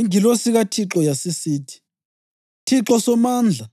Ingilosi kaThixo yasisithi, “ Thixo Somandla,